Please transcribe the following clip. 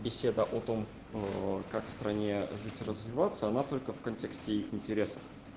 беседа о том как стране жить и развиваться она только в контексте их интересов